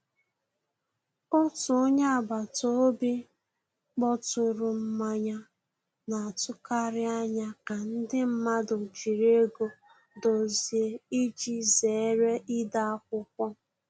Otu onye agbata obi kpọturu mmanye, na-atụkarị anya ka ndị mmadụ jiri ego dozie iji zere ide akwụkwọ